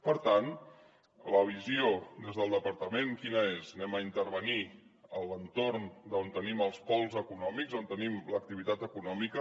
per tant la visió des del departament quina és intervindrem en l’entorn on tenim els pols econòmics on tenim l’activitat econòmica